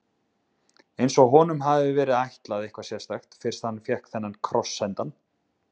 Eins og honum hafi verið ætlað eitthvað sérstakt, fyrst hann fékk þennan kross sendan.